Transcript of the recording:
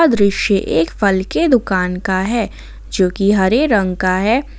दृश्य एक फल के दुकान का है जोकि हरे रंग का है।